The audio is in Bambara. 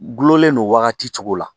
Gulonlen don wagati cogo la